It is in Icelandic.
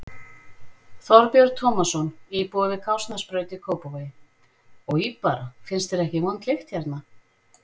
Þorbjörn Tómasson, íbúi við Kársnesbraut í Kópavogi: Oj bara, finnst þér ekki vond lykt hérna?